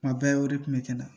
Kuma bɛɛ o de kun bɛ kɛ na